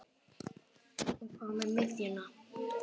En hvað með miðjuna?